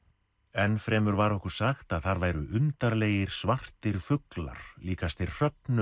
enn fremur var okkur sagt að þar væru undarlegir svartir fuglar líkastir